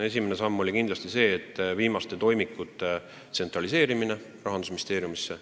Esimene samm oli kindlasti viimaste toimikute tsentraliseerimine Rahandusministeeriumisse.